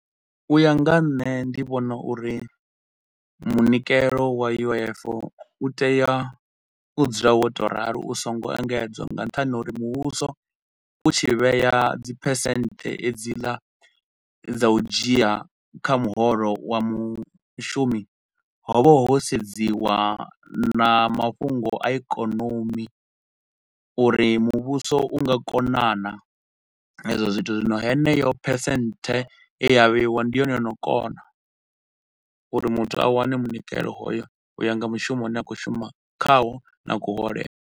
U ya nga ha nṋe ndi vhona uri munikelo wa U_I_F u tea u dzula wo tou ralo u so ngo engedzwa nga nṱhani ha uri muvhuso u tshi vhea dzi percent dzi la dza u dzhia kha muholo wa mushumi, ho vha ho sedziwa na mafhungo a ikonomi uri muvhuso u nga kona naa hezwo zwithu. Zwino heneyo percent e ya vheiwa ndi yone yo no kona uri muthu a wane munikelo hoyo uya nga mushumo u ne a khou shuma khaho na kuhole.